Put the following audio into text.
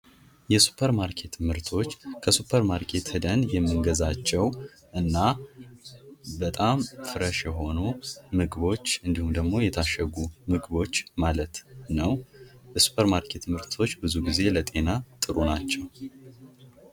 የሱፐር ማርኬት ምርቶች፦ ከሱፐር ማርኬት ሂደን የሚገዛቸው እና በጣም ፍሬሽ የሆኑ ምግቦችእንዲሁም ደግሞ የታሸጉ ምግቦች ማለት ነው። የሱፐር ማርኬት ምርቶች ብዙ ጊዜ ለጤና ጥሩ ናቸው።